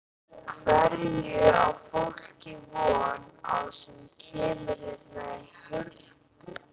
Hverju á fólk von á sem kemur hérna í Hörpu?